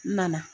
N nana